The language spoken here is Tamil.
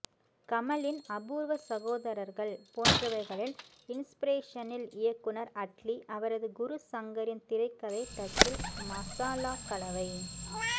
கமலின் அபூர்வ சகோதரர்கள் போன்றவைகளின் இன்ஸ்பிரேசனில் இயக்குனர் அட்லி அவரது குரு சங்கரின் திரைக்கதை டச்சில் மசாலா கலவை